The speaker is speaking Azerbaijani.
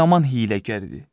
O yaman hiyləgər idi.